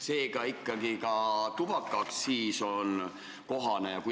Seega ikkagi ka tubakaaktsiis on teema.